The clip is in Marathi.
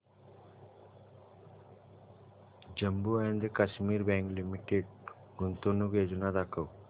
Jammu and Kashmir bank limited गुंतवणूक योजना दाखव